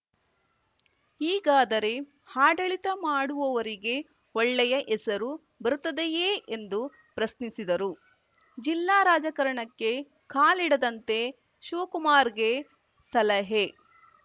ಹೀಗಾದರೆ ಆಡಳಿತ ಮಾಡುವವರಿಗೆ ಒಳ್ಳೆಯ ಹೆಸರು ಬರುತ್ತದೆಯೇ ಎಂದು ಪ್ರಶ್ನಿಸಿದರು ಜಿಲ್ಲಾ ರಾಜಕಾರಣಕ್ಕೆ ಕಾಲಿಡದಂತೆ ಶಿವಕುಮಾರ್‌ಗೆ ಸಲಹೆ